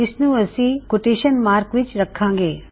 ਇਸਨੂੰ ਅਸੀਂ quotation mark ਵਿੱਚ ਰੱਖਾਂਗੇ